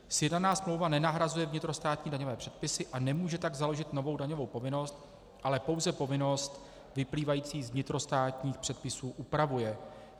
Sjednaná smlouva nenahrazuje vnitrostátní daňové předpisy, a nemůže tak založit novou daňovou povinnost, ale pouze povinnost vyplývající z vnitrostátních předpisů upravuje.